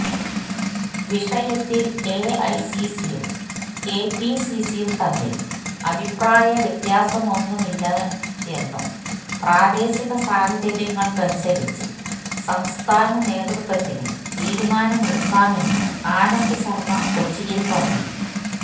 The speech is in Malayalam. വിഷയത്തില് എഐസിസിയും കെപിസിസിയും തമ്മില് അഭിപ്രായവ്യത്യാസമൊന്നുമില്ലയെന്നും പ്രാദേശിക സാഹചര്യങ്ങളനുസരിച്ച് സംസ്ഥാന നേതൃത്വത്തിന് തീരുമാനമെടുക്കാമെന്നും ആനന്ദ് ശര്മ കൊച്ചിയില് പറഞ്ഞു